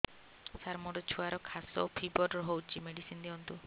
ସାର ମୋର ଛୁଆର ଖାସ ଓ ଫିବର ହଉଚି ମେଡିସିନ ଦିଅନ୍ତୁ